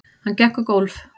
Hann gekk um gólf.